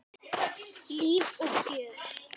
Líf og fjör.